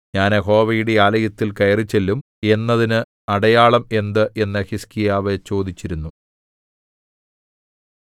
ഞാൻ യഹോവയുടെ ആലയത്തിൽ കയറിച്ചെല്ലും എന്നതിന് അടയാളം എന്ത് എന്നു ഹിസ്കീയാവ് ചോദിച്ചിരുന്നു